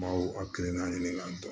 N b'aw hakilina ɲini k'a dɔn